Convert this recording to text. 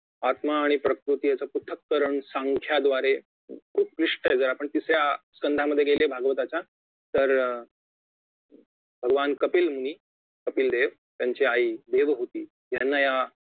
आत्मा आणि प्रवृत्ती यांचं पृथकरण सांख्याद्वारे उद्दिष्ठ जर आपण तिसऱ्या कंधामध्ये गेले भागवताच्या तर भगवान कपिल यांनी कपिलदेव त्यांची आई देव होती